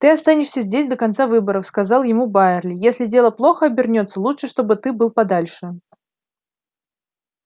ты останешься здесь до конца выборов сказал ему байерли если дело плохо обернётся лучше чтобы ты был подальше